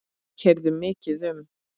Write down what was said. Við keyrðum mikið um.